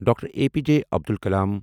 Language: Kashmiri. doctor A P J Abdul کلام